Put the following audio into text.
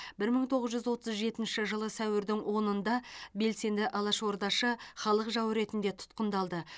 бір мың тоғыз жүз отыз жетінші жылы сәуірдің онында белсенді алашордашы халық жауы ретінде тұтқындалды